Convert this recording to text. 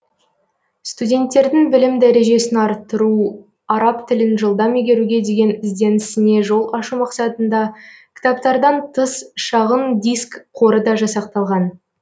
студенттердің білім дәрежесін арттыру араб тілін жылдам игеруге деген ізденісіне жол ашу мақсатында кітаптардан тыс шағын диск қоры да жасақталған